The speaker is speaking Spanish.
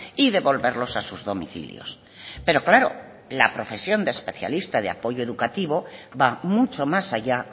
y devolverlos a sus domicilios pero claro la profesión de especialista de apoyo educativo va mucho más allá